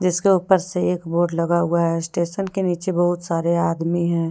इसके ऊपर से एक बोर्ड लगा हुआ है स्टेशन के नीचे बहुत सारे आदमी हैं।